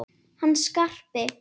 Hann Skarpi?